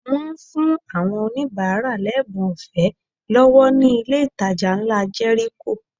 Wọ́n fún àwọn oníbàárà lẹ́bùn ọ̀fẹ́ lọ́wọ́ ní ilé ìtajà ńlá Jẹ́ríkò